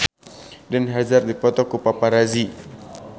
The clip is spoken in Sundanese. Eden Hazard dipoto ku paparazi